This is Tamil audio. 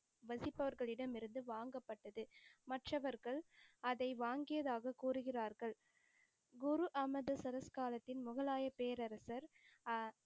வசிப்பவர்களிடம் இருந்து வாங்கப்பட்டது. மற்றவர்கள் அதை வாங்கியதாக கூறுகிறார்கள். குரு அமிர்தசரஸ் காலத்தின் முகலாய பேரரசர் ஆ,